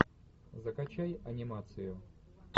закачай анимацию